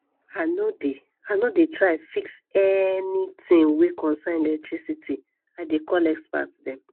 i no dey i no dey try fix anytin wey concern electricity i dey call expert dem